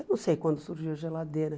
Eu não sei quando surgiu a geladeira.